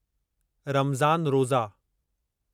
रमज़ान रोज़ा